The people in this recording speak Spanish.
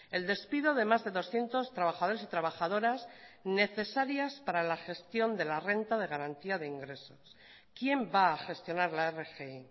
el despido de más de doscientos trabajadores y trabajadoras necesarias para la gestión de la renta de garantía de ingresos quién va a gestionar la rgi